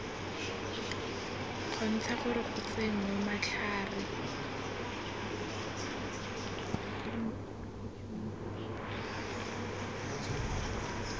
kgontsha gore go tsenngwe matlhare